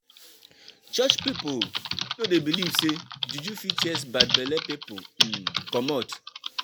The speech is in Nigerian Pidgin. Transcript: Church pipu no dey beliv sey juju fit chase bad belle pipu um comot.